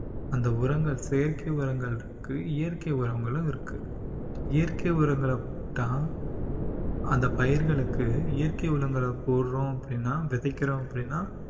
அந்த உரங்கள் செயற்கை உரங்கள் இருக்கு இயற்கை உரங்களும் இருக்கு. இயற்கை உரங்களை தான் அந்த பயிர்களுக்கு இயற்கை உரங்களை போடுறோம் அப்படின்னா விதைக்கிறோம் அப்படின்னா